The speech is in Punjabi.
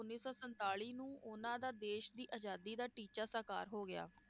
ਉੱਨੀ ਸੌ ਸੰਤਾਲੀ ਨੂੰ ਉਹਨਾਂ ਦਾ ਦੇਸ਼ ਦੀ ਅਜਾਦੀ ਦਾ ਟੀਚਾ ਸਾਕਾਰ ਹੋ ਗਿਆ